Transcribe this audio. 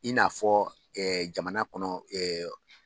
In n'a fɔ jamana kɔnɔ